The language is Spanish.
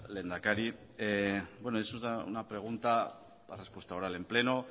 lehendakari es una pregunta la respuesta oral en pleno